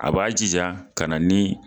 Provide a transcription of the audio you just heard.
A b'a jija ka na ni